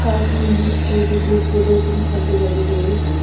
पास में ही ये बिजली के दो तीन खंभे लगे हुए हैं।